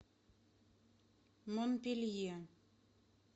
монпелье